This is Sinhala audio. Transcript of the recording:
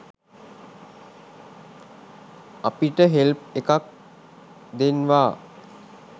අපිට හෙල්ප් එකක් දෙන්වා